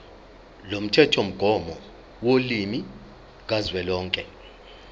lomthethomgomo wolimi kazwelonke